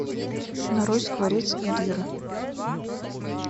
нарой скворец и лира